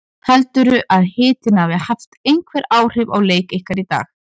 Heldurðu að hitinn hafi haft einhver áhrif á leik ykkar í dag?